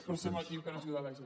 però som aquí per ajudar la gent